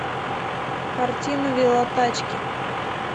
картина велотачки